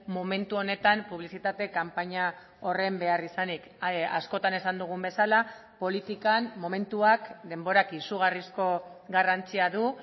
momentu honetan publizitate kanpaina horren beharrizanik askotan esan dugun bezala politikan momentuak denborak izugarrizko garrantzia du